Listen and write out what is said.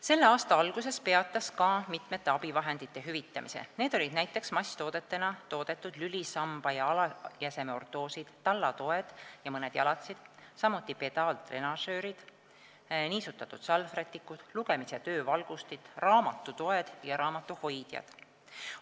" Selle aasta alguses peatas SKA mitmete abivahendite hüvitamise, need olid näiteks masstoodetena toodetud lülisamba ja alajäseme ortoosid, tallatoed ja mõned jalatsid, samuti pedaaltrenažöörid, niisutatud salvrätikud, lugemis- ja töövalgustid, raamatutoed ja raamatuhoidjad.